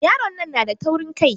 Yaron nan na da taurin Kai.